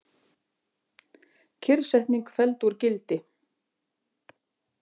Kyrrsetning felld úr gildi